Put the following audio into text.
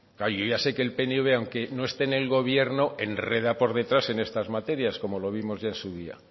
claro yo ya sé que el pnv aunque no esté en el gobierno enreda por detrás en estas materias como lo vimos ya en su día